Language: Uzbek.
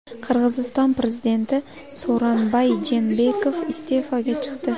Qirg‘iziston prezidenti So‘ronbay Jeenbekov iste’foga chiqdi.